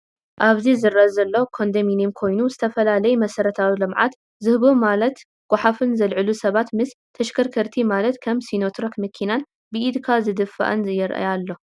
ኣብዚ ዝረኣ ዘሎ ኮዶምኔም ኮይኑ ዝፈላለዩ መሰረታዊ ልምዓት ዝህቡ ማላት ጓሓፍ ዘልዕሉ ሰባት ምስ ተሸከርከርቲ ማለት ከም ሲኖትራክ መኪናን ብኢድካ ዝድፋኣን የረኣ ኣሎ።